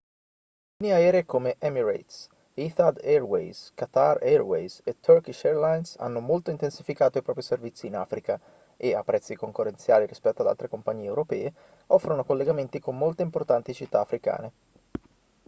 linee aeree come emirates etihad airways qatar airways e turkish airlines hanno molto intensificato i propri servizi in africa e a prezzi concorrenziali rispetto ad altre compagnie europee offrono collegamenti con molte importanti città africane